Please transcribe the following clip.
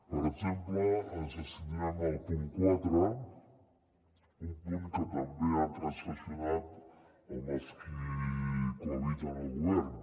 per exemple ens abstindrem al punt quatre un punt que també han transaccionat amb els qui cohabiten al govern